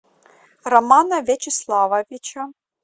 романа вячеславовича